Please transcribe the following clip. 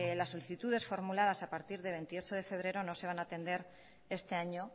las solicitudes formuladas a partir del veintiocho defebrero no se van a atender este año